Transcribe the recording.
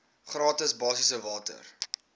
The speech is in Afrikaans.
gratis basiese water